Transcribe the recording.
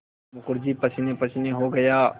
मुखर्जी पसीनेपसीने हो गया